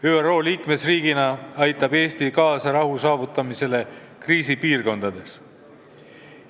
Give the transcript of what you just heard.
ÜRO liikmesriigina aitab Eesti kaasa rahu saavutamisele kriisipiirkondades.